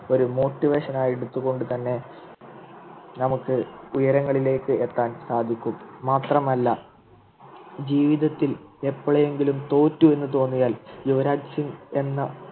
ഒരു motivation ആയി എടുത്തുകൊണ്ട് തന്നെ നമുക്ക് ഉയരങ്ങളിലേക്ക് എത്താൻ സാധിക്കും മാത്രമല്ല ജീവിതത്തിൽ എപ്പോഴെങ്കിലും തോറ്റു എന്ന് തോന്നിയാൽ യുവരാജ് സിംഗ് എന്ന